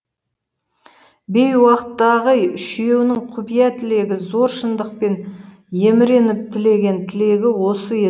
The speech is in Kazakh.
бейуақтағы үшеуінің құпия тілегі зор шындықпен еміреніп тілеген тілегі осы